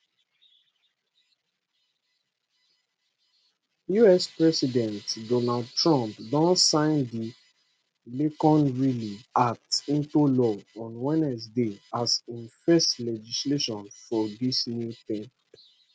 us president donald trump don sign di laken riley act into law on wednesday as im first legislation for dis new term